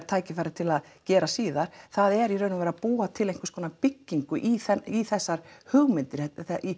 tækifæri til að gera síðar það er að búa til einhverskonar byggingu í í þessar hugmyndir